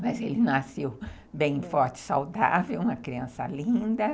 Mas ele nasceu bem forte, saudável, uma criança linda.